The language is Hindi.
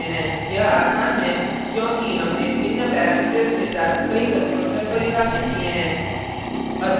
यह आसान है क्योंकि हमने भिन्न parameters के साथ कई constructors परिभाषित किये हैं